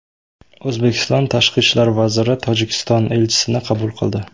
O‘zbekiston Tashqi ishlar vaziri Tojikiston elchisini qabul qildi.